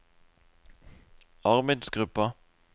arbeidsgruppa